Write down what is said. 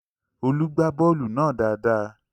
Olú gbá bọ́ọ̀lù náà dáadáa